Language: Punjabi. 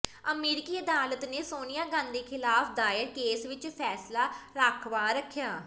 ਅਮਰੀਕੀ ਅਦਾਲਤ ਨੇ ਸੋਨੀਆ ਗਾਂਧੀ ਖਿਲਾਫ ਦਾਇਰ ਕੇਸ ਵਿੱਚ ਫੈਸਲਾ ਰਾਖਵਾਂ ਰੱਖਿਆ